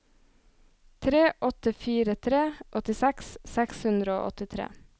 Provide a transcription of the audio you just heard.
tre åtte fire tre åttiseks seks hundre og åttitre